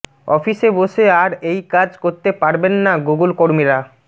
অফিসে বসে আর এই কাজ করতে পারবেন না গুগল কর্মীরা